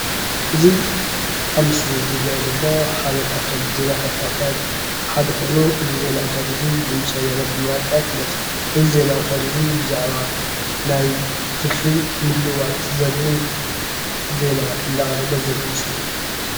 እዚ ኣብ ምስሊ ዝርአ ዘሎ ሓደ ካብቶም ዜናታት ኣውታር ሓደ ኾይኑ እዚ ዜና ኣውታር እዚ ድምፂ ወያነ ብምባል ከዓ ይፍለጥ፡፡ እዚ ዜና ኣውታር እዚ ብዛዓባ ናይ ትርፊ ምልውዋጥ ዘርእን ዜና እንዳቕረበ ዘርኢ ምስሊ እዩ፡፡